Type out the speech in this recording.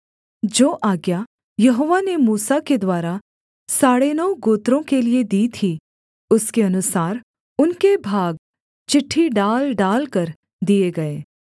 जो आज्ञा यहोवा ने मूसा के द्वारा साढ़े नौ गोत्रों के लिये दी थी उसके अनुसार उनके भाग चिट्ठी डाल डालकर दिए गए